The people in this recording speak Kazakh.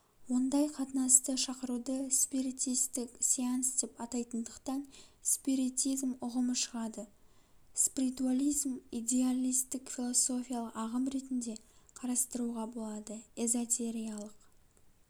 ондай қатынасты шакыруды спиритистік сеанс деп атайтындықтан спиритизм ұғымы шығады спритуализм идеалистік философиялық ағым ретінде қарастыруға болады эзотериалық